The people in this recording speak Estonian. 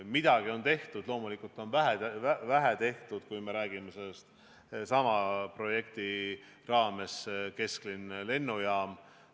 Midagi on ka tehtud, aga loomulikult on tehtud vähe, kui rääkida sellesama projekti raames lõigust kesklinn–lennujaam.